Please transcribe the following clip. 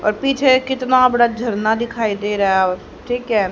और पीछे कितना बड़ा झरना दिखाई दे रहा है और ठीक है।